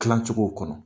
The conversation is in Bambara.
Tilancɛw kɔnɔ